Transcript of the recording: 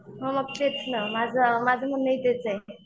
हो मग तेच ना माझं माझं म्हणणं ही तेच आहे.